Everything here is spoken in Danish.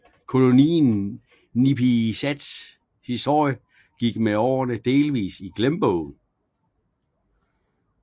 Kolonien Nipisats historie gik med årene delvis i glemmebogen